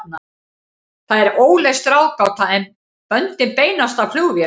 Það er óleyst ráðgáta, en böndin beinast að flugvélum.